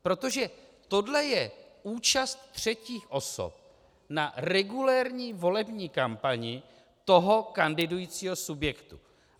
Protože tohle je účast třetích osob na regulérní volební kampani toho kandidujícího subjektu.